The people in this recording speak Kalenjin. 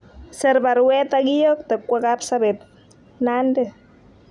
Ser baruet akiyokte kwa Kapsabet, Nandi